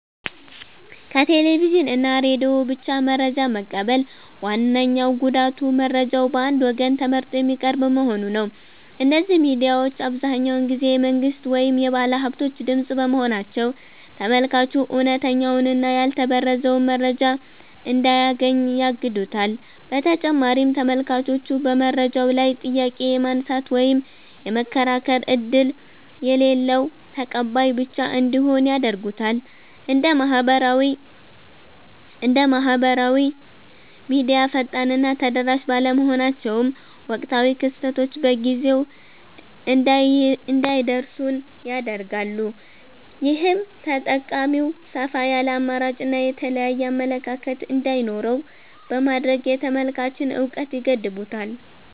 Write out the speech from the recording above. ከቴሌቪዥን እና ሬዲዮ ብቻ መረጃ መቀበል ዋነኛው ጉዳቱ መረጃው በአንድ ወገን ተመርጦ የሚቀርብ መሆኑ ነው። እነዚህ ሚዲያዎች አብዛኛውን ጊዜ የመንግሥት ወይም የባለሃብቶች ድምፅ በመሆናቸው፤ ተመልካቹ እውነተኛውንና ያልተበረዘውን መረጃ እንዳያገኝ ያግዱታል። በተጨማሪም ተመልካቹ በመረጃው ላይ ጥያቄ የማንሳት ወይም የመከራከር ዕድል የሌለው ተቀባይ ብቻ እንዲሆን ያደርጉታል። እንደ ማኅበራዊ ሚዲያ ፈጣንና ተደራሽ ባለመሆናቸውም፣ ወቅታዊ ክስተቶች በጊዜው እንዳይደርሱን ያደርጋሉ። ይህም ተጠቃሚው ሰፋ ያለ አማራጭና የተለያየ አመለካከት እንዳይኖረው በማድረግ የተመልካችን እውቀት ይገድቡታል።